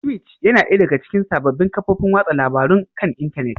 Twitch yana ɗaya daga cikin sabbin kafofin watsa labarun kan intanet